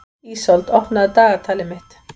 Ísold, opnaðu dagatalið mitt.